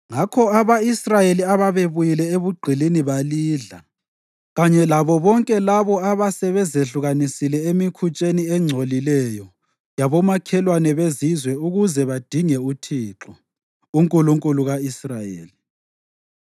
Ngakho abako-Israyeli ababebuyile ebugqilini balidla, kanye labo bonke labo abasebezehlukanisile emikhutsheni engcolileyo yabomakhelwane beZizwe ukuze badinge uThixo, uNkulunkulu ka-Israyeli.